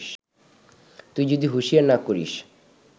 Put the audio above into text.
তুই যদি হুঁশিয়ার না করিস